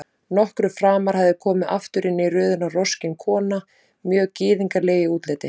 Nokkru framar hafði komið aftur inn í röðina roskin kona, mjög gyðingleg í útliti.